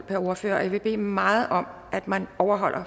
per ordfører og jeg vil bede meget om at man overholder